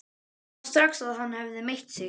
Sá strax að hann hafði meitt sig.